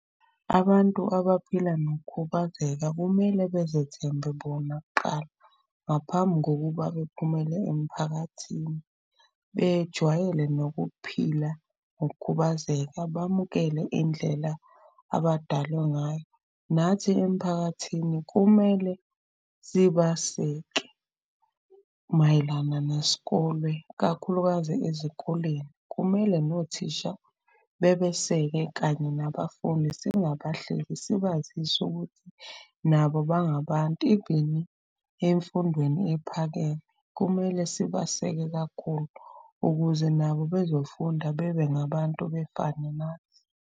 Abantu abaphila nokukhubazeka kumele bezethembe bona kuqala, ngaphambi kokuba bephumele emphakathini. Bejwayele nokuphila ngokukhubazeka, bamukele indlela abadalwa ngayo. Nathi emphakathini kumele sibaseke mayelana nesikolwe, kakhulukazi ezikoleni. Kumele nothisha bebeseke kanye nabafundi singabahleki sibazise okuthi nabo bangabantu. Even emfundweni ephakeme, kumele sibaseke kakhulu ukuze nabo bezofunda bebe ngabantu befane nathi.